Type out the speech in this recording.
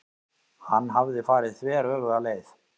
Hann hafði farið þveröfuga leið.